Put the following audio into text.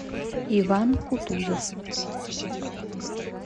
иван кутузов